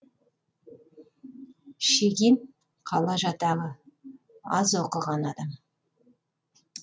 шегин қала жатағы аз оқыған адам